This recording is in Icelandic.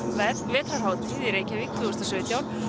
vetrarhátíð í Reykjavík tvö þúsund og sautján